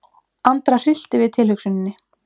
Andra hryllti við tilhugsuninni.